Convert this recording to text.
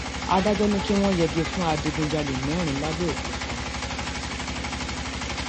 um adájọ ni kí wọn yẹgi fún adigunjalè mẹrin làbẹọkúta